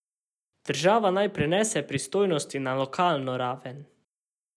Država naj prenese pristojnosti na lokalno raven.